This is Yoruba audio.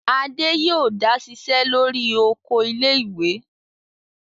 Adé yóò dá ṣiṣẹ́ lórí oko ilé-ìwé!